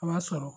A b'a sɔrɔ